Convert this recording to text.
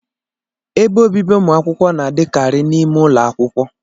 Ebe obibi ụmụ akwụkwọ na-adịkari n' ime ụlọ akwụkwọ